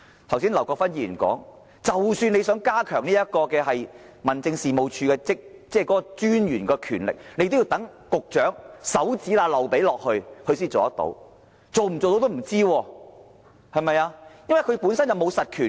正如劉國勳議員剛才所說，即使要加強民政事務專員的權力，也要待局長在指縫間漏出來才可，但最終是否可行仍是未知之數，因為專員本身並無實權。